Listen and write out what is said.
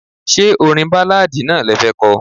Ṣé orin Báláadì náà le fẹ́ ko?